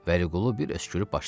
Vəliqulu bir öskürüb başladı.